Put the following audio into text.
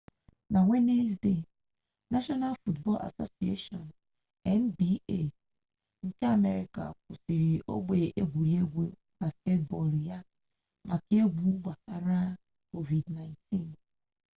na wenezdee nashọnal basketbọl asosieshọn nba nke amerịka kwụsịrị ogbe egwuregwu basketbọl ya maka egwu gbasara covid-19